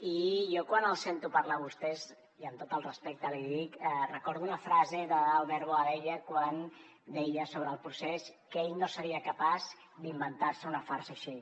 i jo quan els sento parlar a vostès i amb tot el respecte l’hi dic recordo una frase d’albert boadella quan deia sobre el procés que ell no seria capaç d’inventar se una farsa així